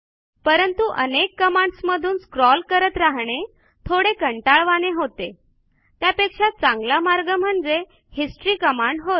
परंतु अनेक कमांडस मधून स्क्रॉल करत राहणे थोडे कंटाळवाणे होते त्यापेक्षा चांगला मार्ग म्हणजे हिस्टरी कमांड होय